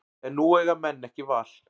En nú eiga menn ekki val